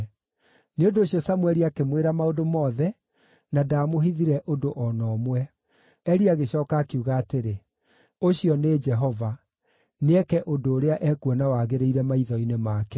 Nĩ ũndũ ũcio Samũeli akĩmwĩra maũndũ mothe, na ndaamũhithire ũndũ o na ũmwe. Eli agĩcooka akiuga atĩrĩ, “Ũcio nĩ Jehova; nĩeke ũndũ ũrĩa ekuona wagĩrĩire maitho-inĩ make.”